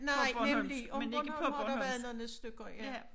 Nej nemlig om Bornholm har der været nogle stykker ja